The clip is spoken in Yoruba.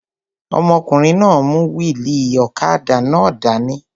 Ọmọkùnrin náà n mú wíìlì ọ̀kadà náà dání